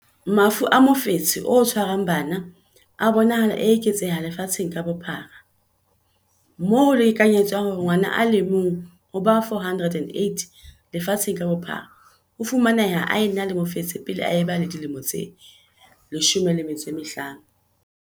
Mafu a mofetshe o tshwarang bana a bonahala a eketseha lefatsheng ka bophara, moo ho lekanyetswang hore ngwana a le mong ho ba 408 lefatsheng ka bophara o fumaneha a ena le mofetshe pele a ba le dilemo tse 15.